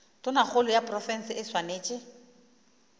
tonakgolo ya profense e swanetše